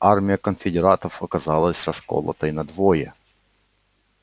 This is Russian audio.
армия конфедератов оказалась расколотой надвое